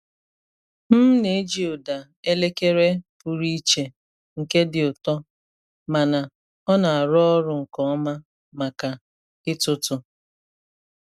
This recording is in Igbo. M na-eji ụda elekere pụrụ iche nke dị ụtọ mana ọ na-arụ ọrụ nke ọma maka ịtụtụ.